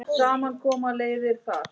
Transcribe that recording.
Við ætlum ekki heim!